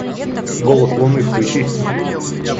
голос луны включи